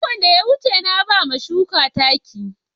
Makon da ya wuce, na ba wa shukan taki.